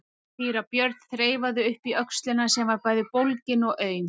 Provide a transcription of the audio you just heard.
Síra Björn þreifaði upp í öxlina sem var bæði bólgin og aum.